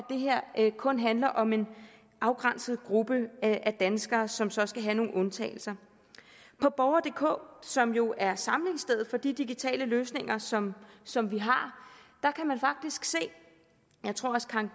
det kun handler om en afgrænset gruppe af danskere som så skal have nogle undtagelser på borgerdk som jo er samlingsstedet for de digitale løsninger som som vi har kan man faktisk se jeg tror